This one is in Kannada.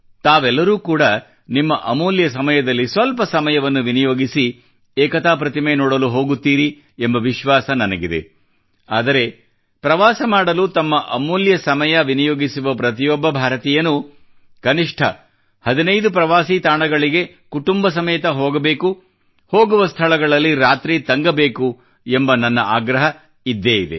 ತಾವೆಲ್ಲರೂ ಕೂಡಾ ನಿಮ್ಮ ಅಮೂಲ್ಯ ಸಮಯದಲ್ಲಿ ಸ್ವಲ್ಪ ಸಮಯವನ್ನು ವಿನಿಯೋಗಿಸಿ ಏಕತಾ ಪ್ರತಿಮೆ ನೋಡಲು ಹೋಗುತ್ತೀರಿ ಎಂಬ ವಿಶ್ವಾಸ ನನಗಿದೆ ಆದರೆ ಪ್ರವಾಸ ಮಾಡಲು ತಮ್ಮ ಅಮೂಲ್ಯ ಸಮಯ ವಿನಿಯೋಗಿಸುವ ಪ್ರತಿಯೊಬ್ಬ ಭಾರತೀಯನೂ ಕನಿಷ್ಠ 15 ಪ್ರವಾಸಿ ತಾಣಗಳಿಗೆ ಕುಟುಂಬ ಸಮೇತ ಹೋಗಬೇಕು ಹೋಗುವ ಸ್ಥಳಗಳಲ್ಲಿ ರಾತ್ರಿ ತಂಗಬೇಕು ಎಂದು ನನ್ನ ಆಗ್ರಹ ಇದ್ದೇ ಇದೆ